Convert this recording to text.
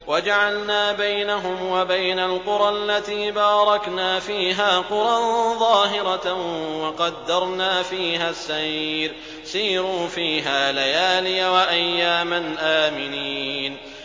وَجَعَلْنَا بَيْنَهُمْ وَبَيْنَ الْقُرَى الَّتِي بَارَكْنَا فِيهَا قُرًى ظَاهِرَةً وَقَدَّرْنَا فِيهَا السَّيْرَ ۖ سِيرُوا فِيهَا لَيَالِيَ وَأَيَّامًا آمِنِينَ